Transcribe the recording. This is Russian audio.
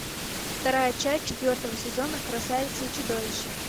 вторая часть четвертого сезона красавица и чудовище